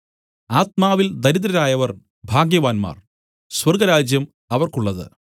ആത്മാവിൽ ദരിദ്രരായവർ ഭാഗ്യവാന്മാർ സ്വർഗ്ഗരാജ്യം അവർക്കുള്ളത്